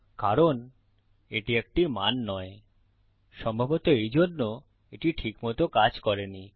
কারণ এটি একটি মান নয় সম্ভবত এই জন্যে এটি ঠিক মত কাজ করেনি